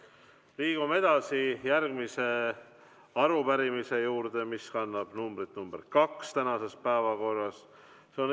Liigume edasi järgmise arupärimise juurde, see on tänases päevakorras teine.